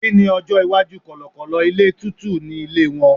kini ọjọ iwaju kọlọkọlọ ilé tútù ni ilé won